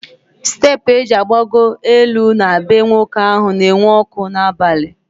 Steepụ eji agbagọ elu na bee nwoke ahụ na enwu ọkụ n'abalị